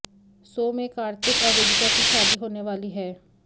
सो में कार्तिक और वेदिका की शादी होने वाली है